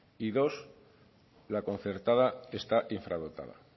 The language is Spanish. y dos la concertada está infradotada